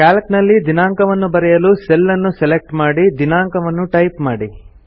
Calc ನಲ್ಲಿ ದಿನಾಂಕವನ್ನು ಬರೆಯಲು ಸೆಲ್ ಅನ್ನು ಸೆಲೆಕ್ಟ್ ಮಾಡಿ ದಿನಾಂಕ ವನ್ನು ಟೈಪ್ ಮಾಡಿ